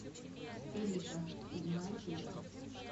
элита седьмая серия